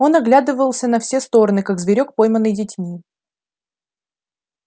он оглядывался на все стороны как зверёк пойманный детьми